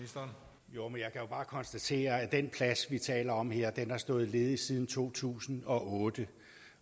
bare konstatere at den plads vi taler om her har stået ledig siden to tusind og otte